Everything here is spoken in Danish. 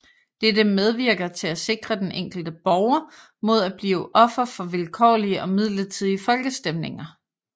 Dette medvirker til at sikre den enkelte borger mod at blive offer for vilkårlige og midlertidige folkestemninger